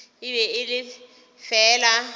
e be e le fela